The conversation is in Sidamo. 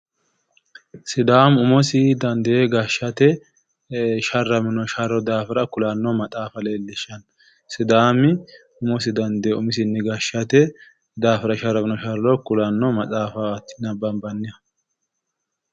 Sidaamu umosi dandee gashshate sharramino sharro daafira kulanno maxaafa leellishshanno. Sidaamu umosi dandee gashshate daafira sharramino sharro daafira kulanno maxaafaati nabbanbannihu.